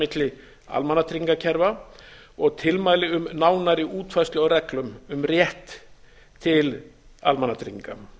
milli almannatryggingakerfa og tilmæli um nánari útfærslu á reglum um rétt til almannatrygginga